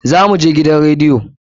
Za mu je gidan radiyo.